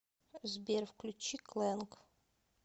сбер включи кланг